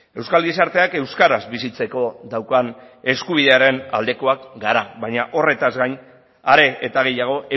euskal gizarteak euskaraz bizitzeko daukan eskubidearen aldekoak gara baina horretaz gain are eta gehiago